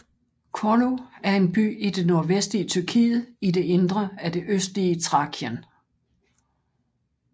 Çorlu er en by i det nordvestlige Tyrkiet i det indre af det østlige Thrakien